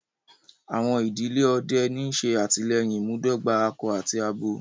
Àwọn idílẹ̀ ọdẹ̀ ọ̀ní ṣé àtílẹyìn ìmúdògbà àkọ àti àbọ